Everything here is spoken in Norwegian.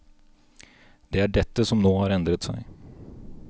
Det er dette som nå har endret seg.